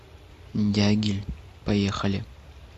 дягиль поехали